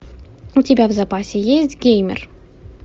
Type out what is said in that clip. у тебя в запасе есть геймер